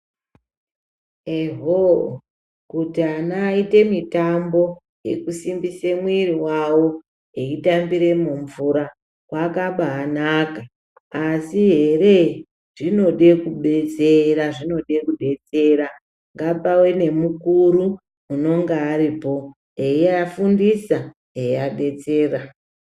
Ehoo kuti ana waite mutambo wekusimbise muwiri wavo eyitambire mumvura kwakabainaka asi heree zvinode kubetsera zvinode kubetsera ngapave nemukuru unenge aripo eyivafundisa eyivabetsera.